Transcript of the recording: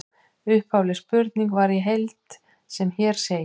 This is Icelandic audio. Upphafleg spurning var í heild sem hér segir: